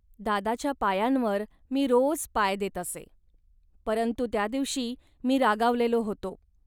दादाच्या पायांवर मी रोज पाय देत असे. परंतु त्या दिवशी मी रागावलेला होतो